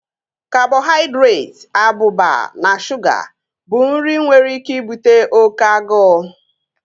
Kabọhaidretị, abụba na shuga bụ nri nwere ike ibute oké agụụ